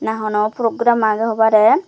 na hono program agey hobare.